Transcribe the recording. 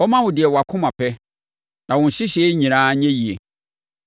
Ɔmma wo deɛ wʼakoma pɛ, na wo nhyehyɛeɛ nyinaa nyɛ yie.